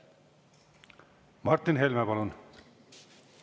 Martin Helme, palun!